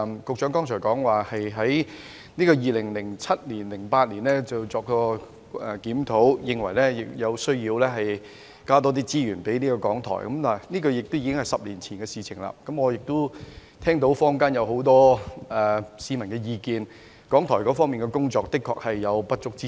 局長剛才提到，局方於2007年及2008年曾作檢討，認為有需要多撥資源給港台，但這已是10年前的事；我亦聽聞坊間有很多市民的意見，認為港台的工作確實有不足之處。